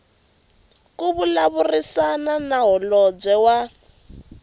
ku vulavurisana na holobye wa